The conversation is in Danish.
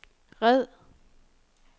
red